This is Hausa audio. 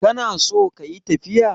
kana so kayi tafiya?